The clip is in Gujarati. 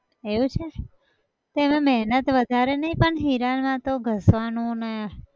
એવું છે! તો એમાં મહેનત વધારે નઈ પણ હીરામાં તો ઘસવાનું ને